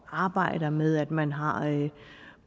arbejder med at man har